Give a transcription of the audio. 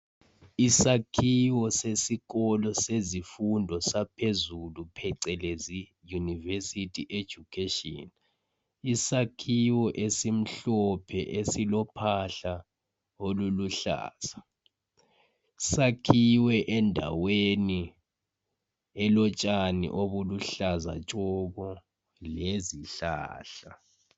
Isakhiwo sesikolo sezifundo saphezulu, phecelezi university education. Isakhiwo esimhlophe esilophahla oluluhlaza. Sakhiwe endaweni elotshani obuluhlaza tshoko, lezihlahla.